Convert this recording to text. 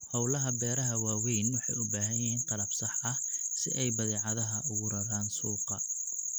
Hawlaha beeraha waaweyn waxay u baahan yihiin qalab sax ah si ay badeecadaha ugu raraan suuqa.